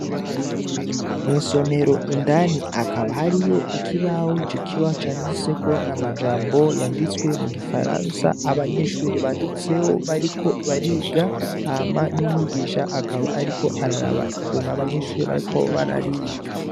Mw'isomero indani hakaba hariy'ikibaho; icokibaho canditsweko amajambo yanditswe mugifaransa abanyeshure banditse bariko bariga hama n'umwigisha akaba ariko araraba ukuntu abanyeshure bariko barandika.